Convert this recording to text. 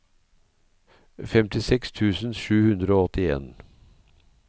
femtiseks tusen sju hundre og åttien